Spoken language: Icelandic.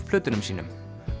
plötunum sínum